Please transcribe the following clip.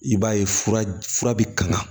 I b'a ye fura bi kanga